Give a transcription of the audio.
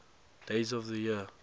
days of the year